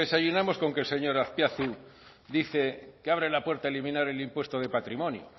desayunamos con que el señor azpiazu dice que abren la puerta a eliminar el impuesto de patrimonio